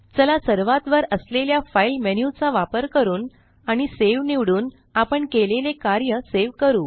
चला सर्वात वर असलेल्या फाइल मेन्यू चा वापर करून आणि सावे निवडून आपण केलेले कार्य सेव करू